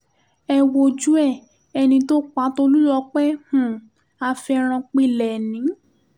ẹ wojú ẹ̀ ẹni tó pa tólùl̀ọpẹ́ um afẹ̀rọ̀npílẹ́ẹ́nì